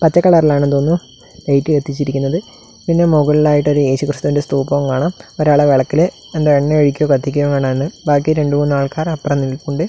പച്ച കളറിലാണെന്ന് തോന്നുന്നു ലൈറ്റ് കത്തിച്ചിരിക്കുന്നത് പിന്നെ മുകളിലായിട്ട് ഒരു യേശുക്രിസ്തുവിന്റെ സ്ഥൂപവും കാണാം ഒരാൾ വിളക്കിലെ എന്തോ എണ്ണ ഒഴിക്കുകയോ കത്തിക്കുകയോയാണ് ബാക്കി രണ്ടു മൂന്ന് ആൾക്കാർ അപ്പറെ നിൽപ്പുണ്ട്.